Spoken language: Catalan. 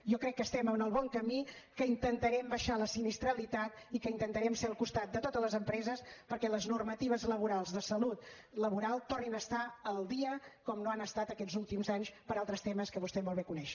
jo crec que estem en el bon camí que intentarem abaixar la sinistralitat i que intentarem ser al costat de totes les empreses perquè les normatives laborals de salut laboral tornin a estar al dia com no han estat aquests últims anys per altres temes que vostè molt bé coneix